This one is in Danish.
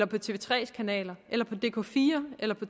på tv3s kanaler eller på dk4 eller på